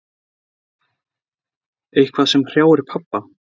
Eitthvað sem hrjáir pabba.